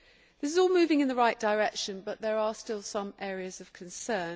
This is all moving in the right direction but there are still some areas of concern.